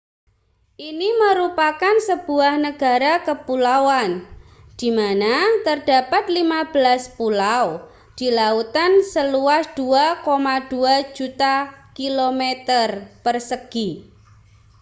ini merupakan sebuah negara kepulauan di mana terdapat 15 pulau di lautan seluas 2,2 juta km2